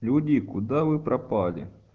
люди куда вы пропали